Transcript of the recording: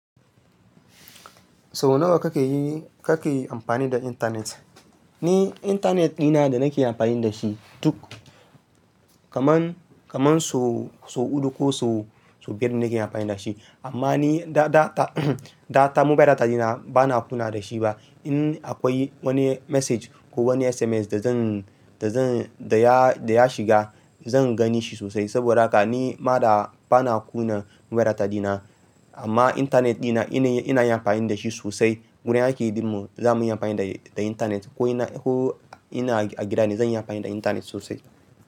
Sau nawa kake yi-- kake yi amfani da intanet? Ni intanet dina da nake amfani da shi duk kaman, kaman sau, sau uku ko sau, sau biyar nake amfani da shi. Amma ni da, da, da, da, mobile data dina bana kuna da shi ba. In akwai wani message ko wani SMS da zan, da zan, da ya, da ya shiga zan gani shi sosai. Saboda haka ni ma da bana kuna mobile data dina. Amma intanet dina ina, ina yi amfani da shi sosai. Wurin aiki dinmu za mu yi amfani da, da intanet ko ina, ko ina a gida ne zan yi amfani da intanet sosai.